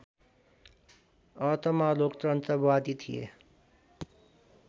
अर्थमा लोकतन्त्रवादी थिए